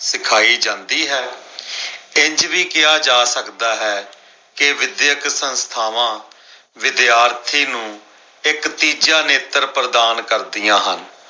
ਸ਼ਿਖਾਏ ਜਾਂਦੀ ਹੈ ਇੰਝ ਵੀ ਕਿਹਾ ਜਾ ਸਕਦਾ ਹੈ ਕੇ ਵਿਦਿਅਕ ਸੰਸਥਾਵਾਂ ਵਿਦਿਆਰਥੀ ਨੂੰ ਇੱਕ ਤੀਜਾ ਨੇਤਰ ਪ੍ਰਦਾਨ ਕਰਦੀਆਂ ਹਨ।